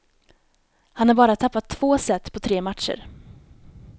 Han har bara tappat två set på tre matcher.